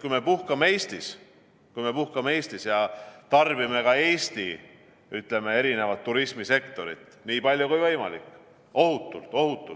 Kui me puhkame Eestis, kui me puhkame Eestis ja tarbime ka Eesti, ütleme, erinevat turismisektorit nii palju kui võimalik, ohutult,